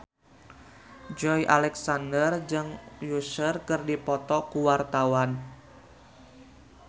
Joey Alexander jeung Usher keur dipoto ku wartawan